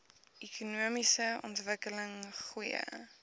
ekonomiese ontwikkeling goeie